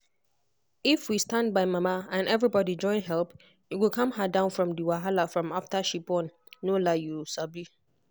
if we stand by mama and everybody join help e go calm her down from the wahala from after she born no lieyou sabi.